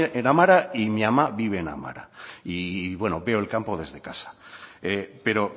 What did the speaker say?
amara y mi ama vive en amara y veo el campo desde casa pero